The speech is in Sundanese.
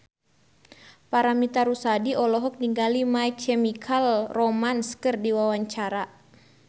Paramitha Rusady olohok ningali My Chemical Romance keur diwawancara